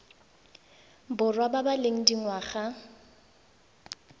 borwa ba ba leng dingwaga